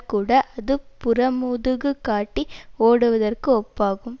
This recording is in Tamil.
கூட அது புறமுதுகுகாட்டி ஓடுவதற்குஒப்பாகும்